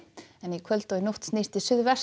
í kvöld og nótt snýst til